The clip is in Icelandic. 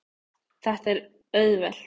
Þetta er auðvelt.